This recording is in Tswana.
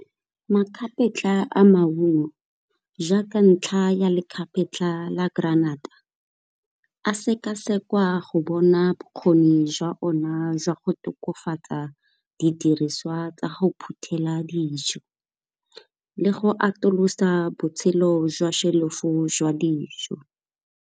Magapetla a maungo jaaka ntlha ya legapetla la granata, a sekasekwa go bona bokgoni jwa ona jwa go tokafatsa didiriswa tsa ga o phuthela dijo, le go atolosa botshelo jwa shelf-o go jwa dijo.